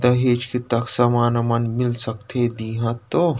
दहेज़ के तक सामान वमान मिल सकथे दिहा तव--